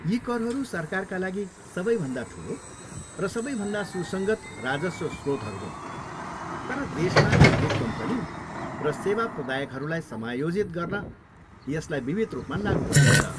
यी करहरू सरकारका लागि सबैभन्दा ठुलो र सबैभन्दा सुसङ्गत राजस्व स्रोतहरू हुन् तर देशमा अधिक कम्पनी र सेवा प्रदायकहरूलाई समायोजित गर्न यसलाई विविध रूपमा लागु गरिन्छ।